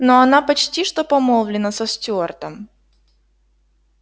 но она почти что помолвлена со стюартом